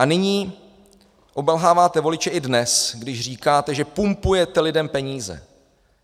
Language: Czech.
A nyní obelháváte voliče i dnes, když říkáte, že pumpujete lidem peníze.